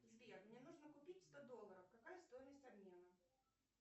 сбер мне нужно купить сто долларов какая стоимость обмена